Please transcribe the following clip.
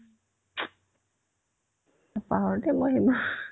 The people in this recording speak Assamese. নাপাহৰো দে মই সেইবোৰ